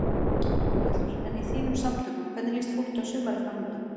Þórhallur: En í þínum samtökum, hvernig líst fólki á sumarið framundan?